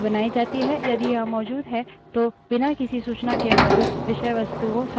यदि यह मौजूद है तो बिना किसी सूचना के मौजूद विषयवस्तुएँ सधारणतः लुप्त हो जाती हैं